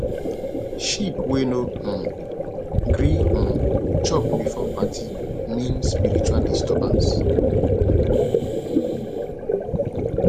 sheep wey no um gree um chop before party mean spiritual disturbance